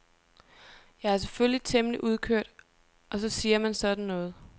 Jeg er selvfølgelig temmelig udkørt og så siger man sådan noget.